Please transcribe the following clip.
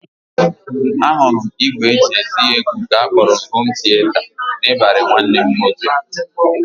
Ahụrụ m ìgwè e ji akụ egwu nke a kpọrọ hom tieta n'ịbarị nwanne m nwoke